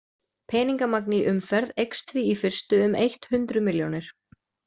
Peningamagn í umferð eykst því í fyrstu um eitt hundruð milljónir.